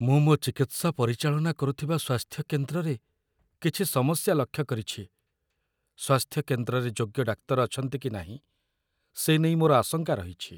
ମୁଁ ମୋ ଚିକିତ୍ସା ପରିଚାଳନା କରୁଥିବା ସ୍ୱାସ୍ଥ୍ୟ କେନ୍ଦ୍ରରେ କିଛି ସମସ୍ୟା ଲକ୍ଷ୍ୟ କରିଛି। ସ୍ୱାସ୍ଥ୍ୟ କେନ୍ଦ୍ରରେ ଯୋଗ୍ୟ ଡାକ୍ତର ଅଛନ୍ତି କି ନାହିଁ, ସେ ନେଇ ମୋର ଆଶଙ୍କା ରହିଛି।